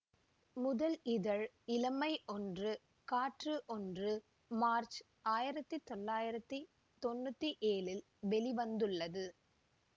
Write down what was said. முதல் இதழ் இளமை ஒன்று காற்று ஒன்று மார்ச் ஆயிரத்தி தொள்ளாயிரத்தி தொன்னூற்தி ஏழில் வெளி வந்துள்ளது